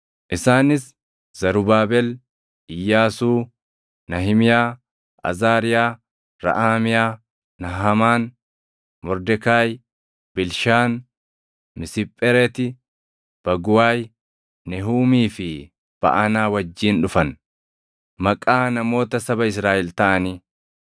isaanis Zarubaabel, Iyyaasuu, Nahimiyaa, Azaariyaa, Raʼaamiyaa, Nahamaan, Mordekaayi, Bilshaan, Misiphereti, Baguwaayi, Nehuumii fi Baʼanaa wajjin dhufan. Maqaa namoota saba Israaʼel taʼanii: